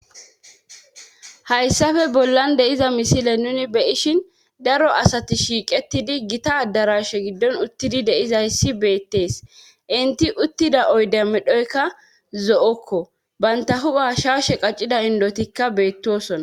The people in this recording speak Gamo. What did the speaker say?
hayissafe bollan de'iza misile nuni be'ishin daro asati shiiqetidi gita darashe giddon uttidi de'izayssi beettees inti uttida oyde medhoykka zo'okko banta hu'a shaashe qaccida indotikka beettosona